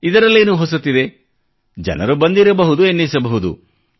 ಇದರಲ್ಲೇನು ಹೊಸತಿದೆ ಜನರು ಬಂದಿರಬಹುದು ಎನ್ನಿಸಬಹುದು